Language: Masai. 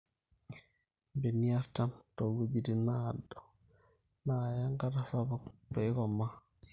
ilbenia artam too wuejitin naado naaya enkata sapuk peeikomaa